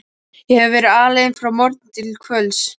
Ég hefi verið alein frá morgni til kvölds.